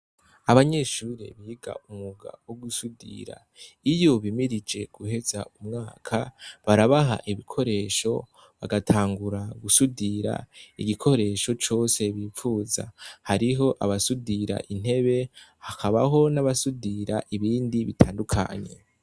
Abanyeshure biga umwuga wo gusudira iyo bimirije guheza umwaka barabaha ibikoresho bagatangura gusudira igikoresho cose bipfuza hariho abasudira intebe hakabaho n' abasudira ibindi bitandukanye.